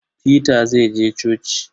Peter zai je coci.